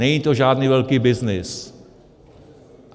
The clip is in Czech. Není to žádný velký byznys.